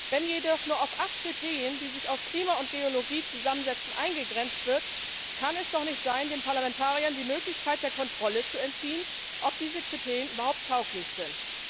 Wenn jedoch nur auf acht Kriterien, die sich aus Klima und Geologie zusammensetzen, eingegrenzt wird, kann es doch nicht sein, den Parlamentariern die Möglichkeit der Kontrolle zu entziehen, ob diese Kriterien überhaupt tauglich sind.